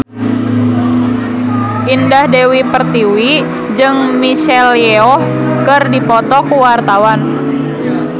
Indah Dewi Pertiwi jeung Michelle Yeoh keur dipoto ku wartawan